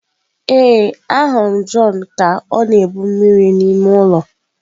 Ee, ahụrụ m John ka ọ na-ebu mmiri n'ime ụlọ.